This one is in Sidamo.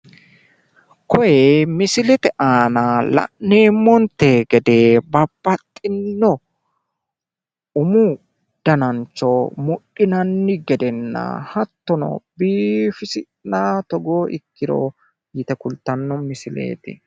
kuni misilete aana la'neemmonte gede babbaxxino umu danancho mudhinanni gedenna hattono biifisi'nayi togoo ikkiro yite kultanno misileeti